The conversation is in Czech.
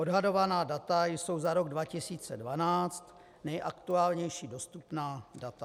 Odhadovaná data jsou za rok 2012, nejaktuálnější dostupná data.